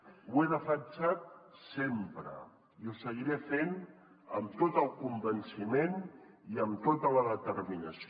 ho he defensat sempre i ho seguiré fent amb tot el convenciment i amb tota la determinació